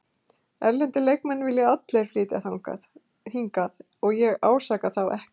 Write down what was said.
Erlendir leikmenn vilja allir flytja hingað og ég ásaka þá ekkert.